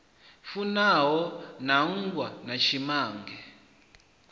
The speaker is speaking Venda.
fanaho na mmbwa na tshimange